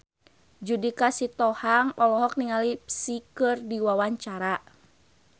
Judika Sitohang olohok ningali Psy keur diwawancara